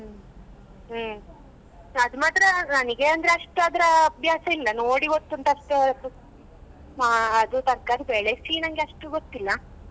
ಹ್ಮ್ ಅದು ಮಾತ್ರ ನನಿಗೆ ಅಂದ್ರೆ ಅಷ್ಟು ಅದ್ರಾ ಅಭ್ಯಾಸ ಇಲ್ಲ ನೋಡಿ ಗೊತ್ತುಂಟು ಅಷ್ಟೇ ಹೊರತು ಮಾ~ ಅದು ತರ್ಕಾರಿ ಬೆಳಸಿ ನನ್ಗೆ ಅಷ್ಟು ಗೊತ್ತಿಲ್ಲ.